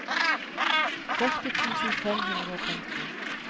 førti tusen fem hundre og femten